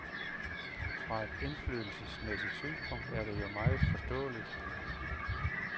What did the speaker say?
Fra et indflydelsesmæssigt synspunkt er det jo meget forståeligt.